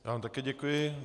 Já vám také děkuji.